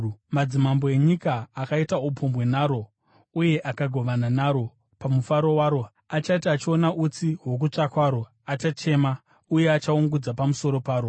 “Madzimambo enyika, akaita upombwe naro uye akagovana naro pamufaro waro achati achiona utsi hwokutsva kwaro, achachema uye achaungudza pamusoro paro.